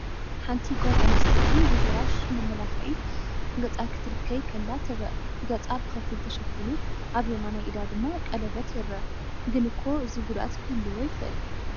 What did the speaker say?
ሓንቲ ጓል ኣንስተይቲ ብብራሽ መመላኽዒ ገፃ ክትለኽይ ከላ ትረአ። ገጻ ብኸፊል ተሸፊኑ፡ ኣብ የማናይ ኢዳ ድማ ቀለቤት ይርአ። ግን እኮ እዚ ጉድኣት ክህልዎ ይኽእል!